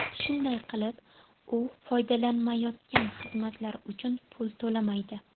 Shunday qilib, u foydalanmayotgan xizmatlar uchun pul to‘lamaydi.